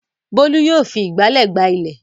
Bólú yóò fi ìgbálẹ̀ gbá ilẹ̀.